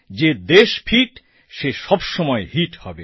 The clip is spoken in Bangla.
যে দেশ ফিট সে সবসময়ই হিটও হবে